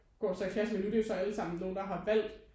Går så i klasse med nu det er jo så allesammen nogen der har valgt